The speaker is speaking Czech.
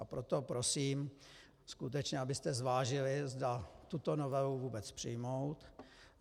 Tak proto prosím, skutečně abyste zvážili, zda tuto novelu vůbec přijmout.